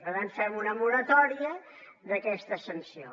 per tant fem una moratòria d’aquesta sanció